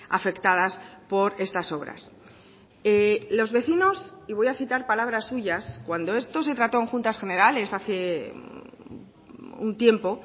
afectadas por estas obras los vecinos y voy a citar palabras suyas cuando esto se trató en juntas generales hace un tiempo